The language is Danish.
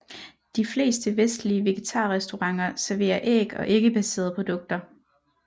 De fleste vestlige vegetarrestauranter serverer æg og æggebaserede produkter